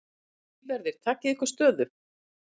Lífverðir takið ykkur stöðu.